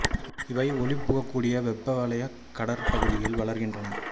இவை ஒளிபுகக் கூடிய வெப்ப வலயக் கடற் பகுதிகளில் வளர்கின்றன